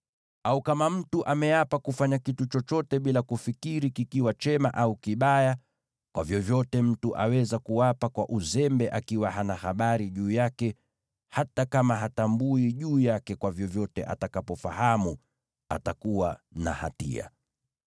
“ ‘Au kama mtu ameapa kufanya kitu chochote bila kufikiri, kiwe chema au kibaya, kwa vyovyote mtu aweza kuapa bila kujali, hata akiwa hana habari, atakapofahamu atakuwa na hatia.